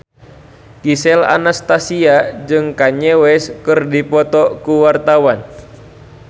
Gisel Anastasia jeung Kanye West keur dipoto ku wartawan